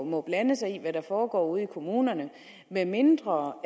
må blande sig i hvad der foregår ude i kommunerne medmindre